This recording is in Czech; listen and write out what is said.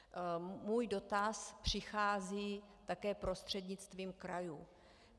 Můj dotaz přichází také prostřednictvím krajů.